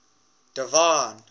divine